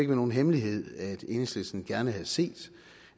være nogen hemmelighed at enhedslisten gerne havde set